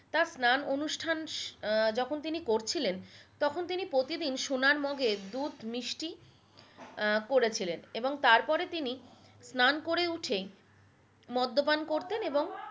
তার স্রান অনুষ্ঠান আহ যখন তিনি করছিলেন তখন তিনি প্রতিদিন সোনার মগে দুধ মিষ্টি আহ করে ছিলেন এবং তারপরে তিনি স্রান করে উঠেই মদ্য পান করতেন এবং